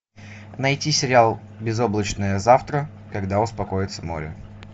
найти сериал безоблачное завтра когда успокоится море